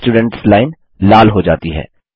students line लाल हो जाती है